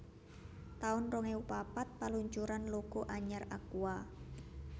taun rong ewu papat Paluncuran logo anyar Aqua